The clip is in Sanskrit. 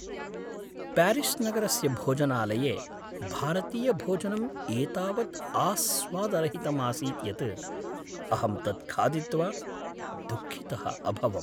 प्यारिस्नगरस्य भोजनालये भारतीयभोजनम् एतावत् आस्वादरहितम् आसीत् यत् अहं तत् खादित्वा दुःखितः अभवम्।